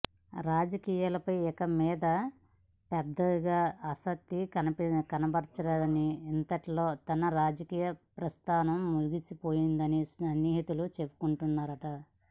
రాజకీయాలపై ఇక మీదత పెద్దగా ఆసక్తి కనబరచరని ఇంతటితో తన రాజకీయ ప్రస్థానం ముగిసిపోతుందని సన్నిహితులు చెప్పుకుంటున్నారట